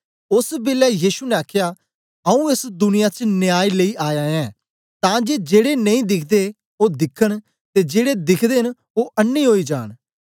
ओस बेलै यीशु ने आखया आऊँ एस दुनिया च न्याय लेई आया ऐं तां जे जेड़े नेई दिख्दे ओ दिखन ते जेड़े दिख्दे न ओ अन्नें ओई जान